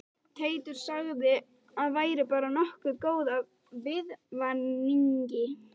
Teitur sagði að væri bara nokkuð góð af viðvaningi